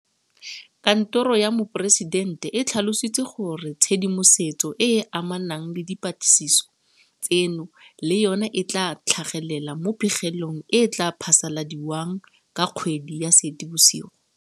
Kantoro ya Moporesitente e tlhalositse gore tshedimosetso e e amanang le dipatlisiso tseno le yona e tla tlhagelela mo pegelong e e tla phasaladiwang ka kgwedi ya Seetebosigo.